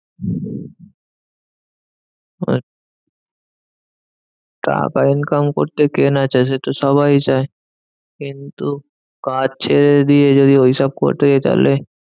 আর টাকা income করতে কে না চায় সেতো সবাই চায়। কিন্তু কাজ ছেড়ে দিয়ে যদি ওইসব করতে যাই তাহলে,